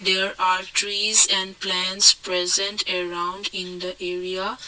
there are trees and plants present around in the area.